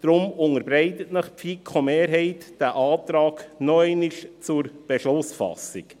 Deshalb unterbreitet Ihnen die FiKo-Mehrheit diesen Antrag noch einmal zur Beschlussfassung.